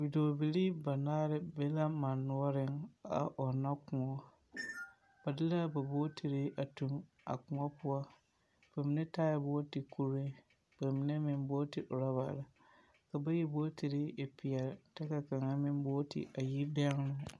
Dɔɔbilii banaare be la mane noɔreŋ a ɔnnɔ kõɔ. Ba de la a ba bootiri tuŋ a kõɔ poɔ. Ba mine taaɛ bootikuree ba mine meŋ booti orɔbare. Ka bayi bootiri e peɛle tɛ ka kaŋa meŋ booti a yi bɛŋenoo.